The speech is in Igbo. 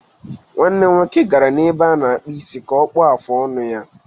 Nwanne m nwoke gara ebe a na-akpụ isi ka ọ kpụọ afụ ọnụ ya